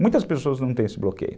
Muitas pessoas têm esse bloqueio.